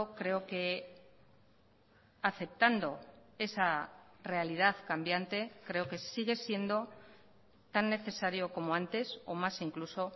creo que aceptando esa realidad cambiante creo que sigue siendo tan necesario como antes o más incluso